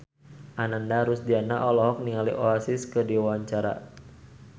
Ananda Rusdiana olohok ningali Oasis keur diwawancara